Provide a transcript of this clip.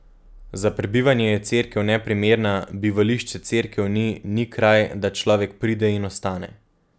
Za prebivanje je cerkev neprimerna, bivališče cerkev ni, ni kraj, da človek pride in ostane.